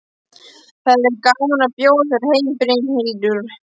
Það hefði verið gaman að bjóða þér heim, Brynhildur.